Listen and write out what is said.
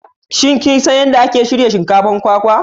Shin kin san yadda ake shirya shinkafar kwakwa?